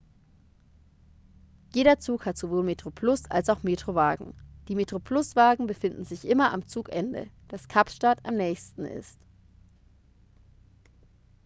jeder zug hat sowohl metroplus als auch metro-wagen die metroplus-wagen befinden sich immer an dem zugende das kapstadt am nächsten ist